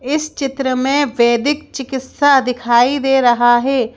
इस चित्र में वैदिक चिकित्सा दिखाई दे रहा है।